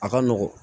A ka nɔgɔn